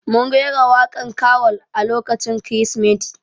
Mun rera waƙan karol a lokacin kirismeti